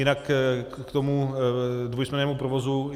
Jinak k tomu dvousměnnému provozu.